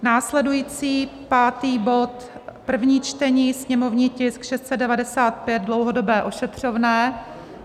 Následující pátý bod, první čtení, sněmovní tisk 695 - dlouhodobé ošetřovné.